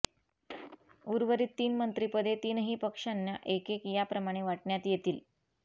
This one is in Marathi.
उर्वरीत तीन मंत्रीपदे तीनही पक्षांना एकेक याप्रमाणे वाटण्यात येतील